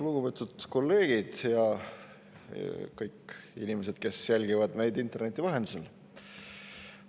Lugupeetud kolleegid ja kõik inimesed, kes jälgivad meid interneti vahendusel!